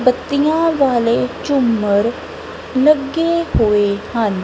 ਬੱਤੀਆਂ ਵਾਲੇ ਝੂੰਮਰ ਲੱਗੇ ਹੋਏ ਹਨ।